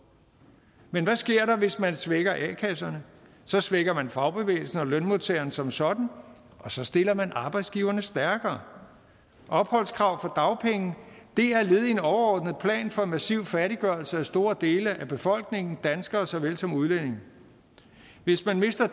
men hvad sker der hvis man svækker a kasserne så svækker man fagbevægelsen og lønmodtagerne som sådan og så stiller man arbejdsgiverne stærkere opholdskravet for dagpenge er led i en overordnet plan for en massiv fattiggørelse af store dele af befolkningen danskere såvel som udlændinge hvis man mister